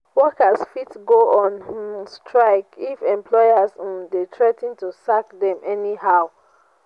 workers fit go on um strike if employers um de threa ten to sack dem anyhow